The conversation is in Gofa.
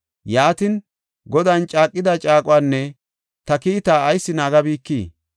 Yaatin, “Godan caaqida caaquwanne ta kiitaa ayis naagabikii?